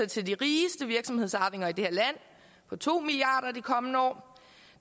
til de rigeste virksomhedsarvinger i det her land på to milliard kroner de kommende år